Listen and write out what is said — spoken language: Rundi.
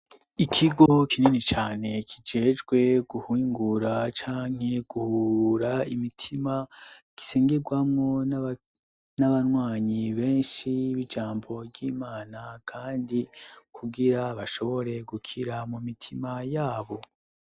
Ikigo kinini cane kijejwe guhingura canke guhura imitima gisengerwamwo n'abanwanyi benshi b'ijambo ry'imana, kandi kugira bashobore gukira mu mitima yabo.